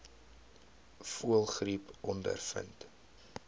voëlgriep ondervind